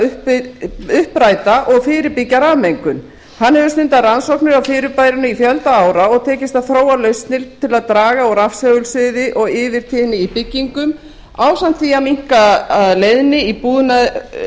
þess að uppræta og fyrirbyggja rafmengun hann hefur stundað rannsóknir á fyrirbærinu í fjölda ára og tekist að þróa lausnir til að draga úr rafsegulsviði og yfirtíðni í byggingum ásamt því að minnka leiðni